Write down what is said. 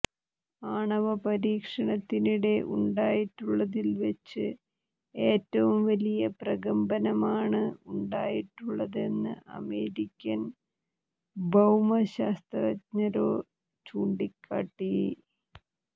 ആണവ പരീക്ഷണത്തിനിടെ ഉണ്ടായിട്ടുള്ളതില് വെച്ച് ഏറ്റവും വലി ്പ്രകമ്പനമാണ് ഉണ്ടായിട്ടുള്ളതെന്ന് അമേരിക്കന് ഭൌമ ശാസ്ത്രജ്ഞര് ചൂണ്ടിക്കാട്ടി